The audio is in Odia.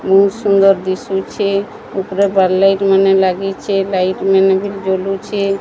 ବହୁତ ସୁନ୍ଦର ଦିଶୁଛି। ଉପରେ ବାରଲାଇଟ ମାନେ ଲାଗିଚି। ଲାଇଟ ମାନେ ବି ଜଲୁଛି।